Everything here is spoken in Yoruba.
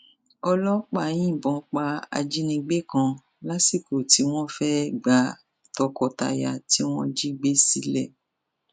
ọlọpàá yìnbọn pa ajínigbé kan lásìkò tí wọn fẹẹ gba tọkọtaya tí wọn jí gbé sílẹ